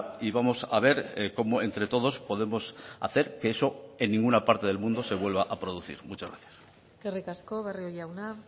y vamos a ver cómo entre todos podemos hacer que eso en ninguna parte del mundo se vuelva a producir muchas gracias eskerrik asko barrio jauna